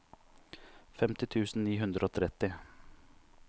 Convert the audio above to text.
femti tusen ni hundre og tretti